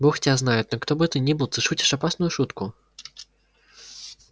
бог тебя знает но кто бы ты ни был ты шутишь опасную шутку